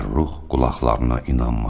Fəxrrux qulaqlarına inanmadı.